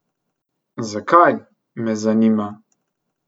Zakaj, me zanima?